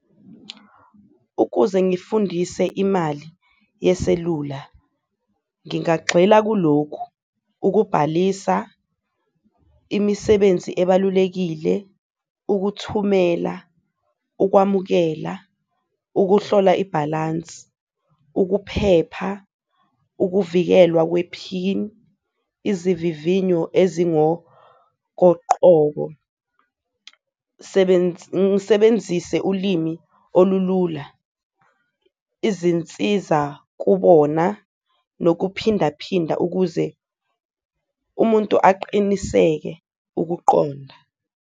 Ukuze ngifundise imali yeselula ngingagxila kulokhu, ukubhalisa imisebenzi ebalulekile, ukuthumela, ukwamukela, ukuhlola ibhalansi, ukuphepha, ukuvikelwa kwe-pin, izivivinyo ezingokoqobo. Ngisebenzise ulimi olulula, izinsiza kubona nokuphindaphinda ukuze umuntu aqiniseke ukuqonda.